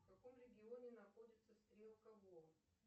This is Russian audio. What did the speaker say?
в каком регионе находится стрелка во